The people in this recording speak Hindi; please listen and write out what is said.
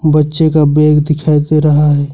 बच्चे का बैग दिखाई दे रहा है।